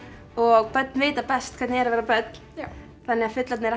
og börn vita best hvernig er að vera börn já þannig að fullorðnir